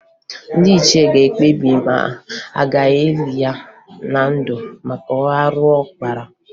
Ndị ichie ga-ekpebi ma a ga-eli ya na ndụ maka arụ ọ kpara